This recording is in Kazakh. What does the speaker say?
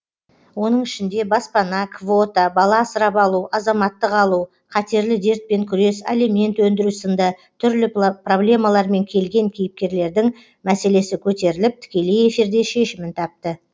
оның ішінде баспана квота бала асырап алу азаматтық алу қатерлі дертпен күрес алимент өндіру сынды түрлі проблемалармен келген кейіпкерлердің мәселесі көтеріліп тікелей эфирде шешімін тапты